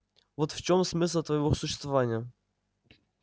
вот в чём смысл твоего существования